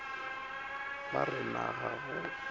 ba re na ga o